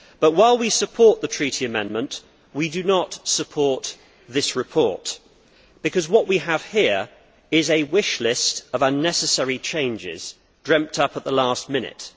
While we support the Treaty amendment, however, we do not support this report because what we have here is a wish list of unnecessary changes dreamt up at the last minute.